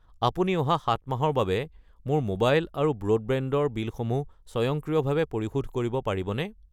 আপুনি অহা 7 মাহৰ বাবে মোৰ মোবাইল আৰু ব্ৰডবেণ্ড ৰ বিলসমূহ স্বয়ংক্ৰিয়ভাৱে পৰিশোধ কৰিব পাৰিবনে?